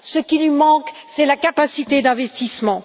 Ce qui lui manque, c'est la capacité d'investissement.